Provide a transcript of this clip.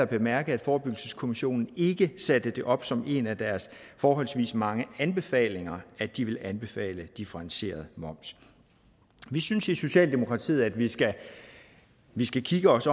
bemærke at forebyggelseskommissionen ikke satte det op som en af deres forholdsvis mange anbefalinger at de ville anbefale differentieret moms vi synes i socialdemokratiet at vi skal vi skal se os